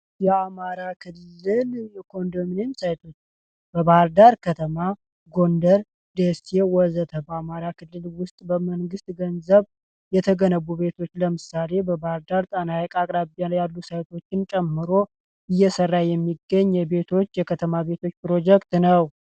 የአማራ ክልል ኮንደሚኒየም ማዕከል በባህርዳር ፣ጎንደር ፣ደሴ ወዘተ በአማራ ክልል ውስጥ በመንግስት ገንዘብ የተገነቡ ቤቶች ለምሳሌ በባህርዳር ጤና ሀይቅ አቅራቢያ ያሉ ሳይቶችን ጨምሮ እየሰራ የሚገኝ የቤቶች ፕሮጀክት ነው።